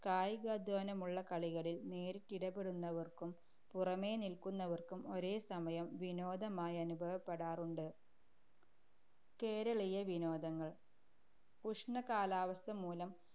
കായികാധ്വാനമുള്ള കളികളിൽ നേരിട്ടിടപെടുന്നവർക്കും, പുറമേ നിൽക്കുന്നവർക്കും ഒരേ സമയം വിനോദമായനുഭവപ്പെടാറുണ്ട്‌. കേരളീയ വിനോദങ്ങൾ. ഉഷ്ണകാലാവസ്ഥമൂലം